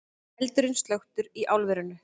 Eldurinn slökktur í álverinu